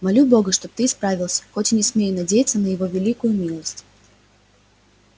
молю бога чтоб ты исправился хоть и не смею надеяться на его великую милость